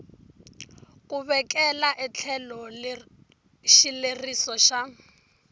ku vekela etlhelo xileriso xa